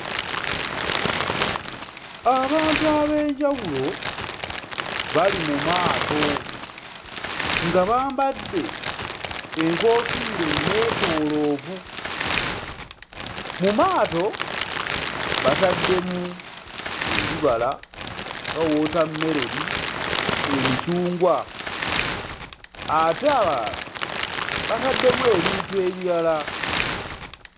Abantu ab'enjawulo bali mu maato nga bambadde enkoofiira ennetooloovu. Mu maato bataddemu ebibala nga wootammeroni, emicungwa, ate abalala bataddemu ebintu ebirala.